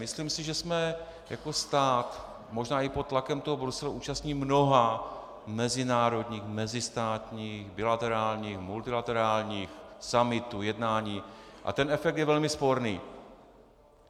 Myslím si, že jsme jako stát možná i pod tlakem toho Bruselu účastni mnoha mezinárodních, mezistátních, bilaterálních, multilaterálních summitů, jednání, a ten efekt je velmi sporný.